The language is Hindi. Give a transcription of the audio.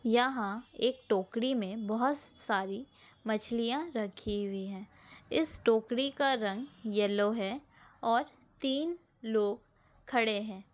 यहाँ एक टोकड़ी में बहुत सारी मछलिया रखी हुई है। इस टोकड़ी का रंग येलो है और तीन लोग खड़े हेै।